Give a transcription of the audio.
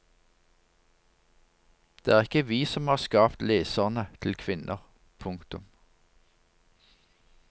Det er ikke vi som har skapt leserne til kvinner. punktum